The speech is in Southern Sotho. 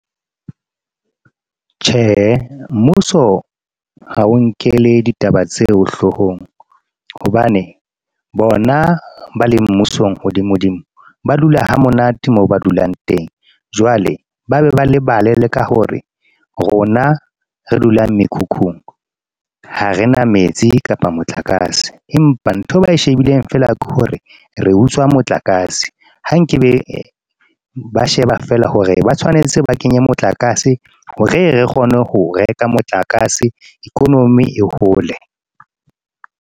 Tjhe, mmuso ha o nkele ditaba tseo hloohong hobane bona ba le mmusong hodimo hodimo, ba dula hamonate mo ba dulang teng jwale ba be ba le balele ka hore rona re dulang mekhukhung. Ha re na metsi kapa motlakase, empa nthwe ba e shebileng fela ke hore re utswa motlakase ha nke be ba sheba fela hore ba tshwanetse ba kenye motlakase hore re kgone ho reka motlakase economy e hole.